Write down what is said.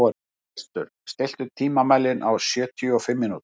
Gestur, stilltu tímamælinn á sjötíu og fimm mínútur.